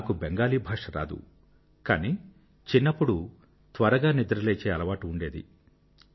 నాకు బెంగాలీ భాష రాదు కానీ చిన్నప్పుడు నాకు త్వరగా నిద్ర లేచే అలవాటు ఉండేది